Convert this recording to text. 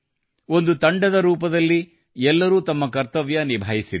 ಒಂದು ತಂಡದ ರೂಪದಲ್ಲಿ ಎಲ್ಲರೂ ತಮ್ಮ ಕರ್ತವ್ಯ ನಿಭಾಯಿಸಿದ್ದಾರೆ